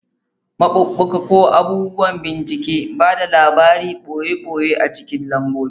Maɓuɓɓuka, ko abubuwan bincike, ba da labarin ɓoye ɓoye a cikin lambobi.